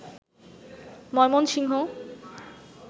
Mymensingh